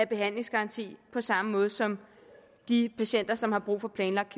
behandlingsgarantien på samme måde som de patienter som har brug for planlagt